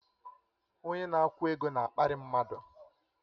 Onye na-akwụ ego na-akparị mmadụ